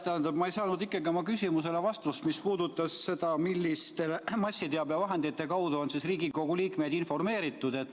Tähendab, ma ei saanud ikkagi vastust oma küsimusele, mis puudutas seda, milliste massiteabevahendite kaudu on Riigikogu liikmeid informeeritud.